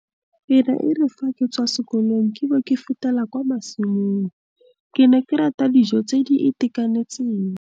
E ne e re fa ke tswa sekolong ke bo ke fetela kwa masimong. Ke ne ke rata dijo tse di itekanentseng.